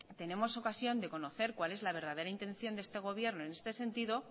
tenemos ocasión de conocer cuál es la verdadera intención de este gobierno en este sentido